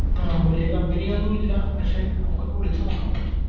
ആ വലിയ Company ഒന്നും ഇല്ല പക്ഷെ നമുക്കൊന്ന് വിളിച്ച് നോക്കാം